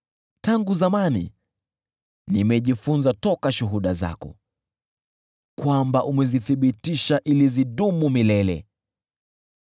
Tangu zamani nimejifunza kutoka shuhuda zako kwamba umezithibitisha ili zidumu milele.